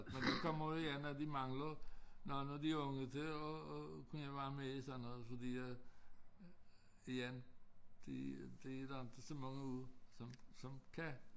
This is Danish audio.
Men nu kommer det igen at de manglede manglede de unge til at at kunne være med i sådan noget fordi at igen det det er der inte så mange unge som som kan